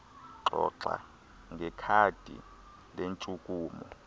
xoxa ngekhadi lentshukumo